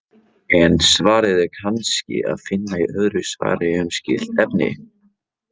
En svarið er kannski að finna í öðru svari um skylt efni.